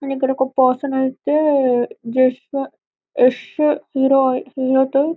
మనకి ఇక్కడ ఒక పర్సన్ ఐతే జేశ్వ యాష్ హేరోది -హీరో --